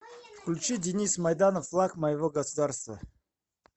включи денис майданов флаг моего государства